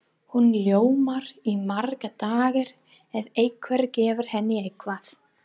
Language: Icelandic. Hún ljómar í marga daga ef einhver gefur henni eitthvað.